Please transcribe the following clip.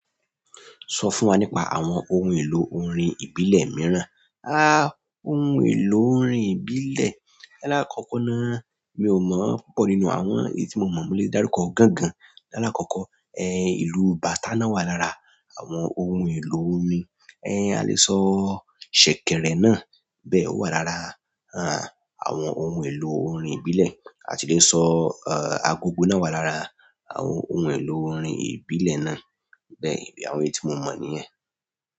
Sọ fún wa nípa àwọn ohun èlò orin ìbílẹ̀ mìíràn. Ohun èlò orin ìbílẹ̀. Lákọ̀ọ́kọ́ ná, mi ò mọ̀ púpọ̀ nínú àwọn èyí tí mo mọ̀, mo le dárúkọ gángan. Lálákọ̀ọ̀kọ́, ìlú bàtá náà wà lára àwọn ohun èlò orin. A lè sọ ṣẹ̀kẹ̀rẹ̀ náà bẹ́ẹ̀, ó wà lára àwọn ohun èlò orin ìbílẹ̀. A tì le sọ, agogo náà wà lára àwọn ohun èlò orin ìbílẹ̀ náà. Bẹ́ẹ̀, àwọn èyí tí mo mọ̀ nìyẹn.